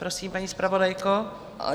Prosím, paní zpravodajko.